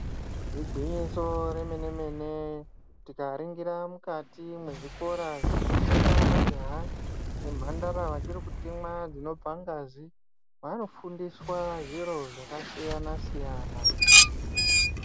Igwinyiso remene-mene tikaringira mukati mezvikora munofunda majaha nemhandara vachirikutemwa dzinobva ngazi, vanofundiswa zviro zvakasiyana-siyana.